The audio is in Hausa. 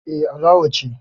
Eh, Alawa ce